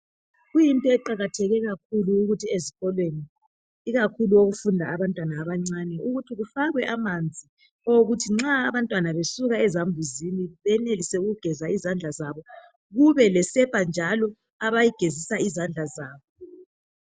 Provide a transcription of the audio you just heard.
Kuyinto eqakatheke kakhulu ukuthi ezikolweni ikakhulu okufunda khona abantwana abancane ukuthi kufakwe amanzi owokuthi nxa abantwana besuka ezambuzini benelise ukugeza izandla zabo. Kumbe lesepa njalo eyokugeza izandla.